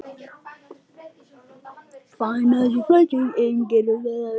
Enginn rumskar í húsinu.